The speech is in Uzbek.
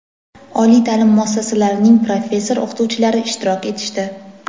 oliy ta’lim muassasalarining professor-o‘qituvchilari ishtirok etishdi.